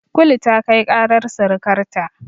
Kulu ta kai ƙarar sirikarta.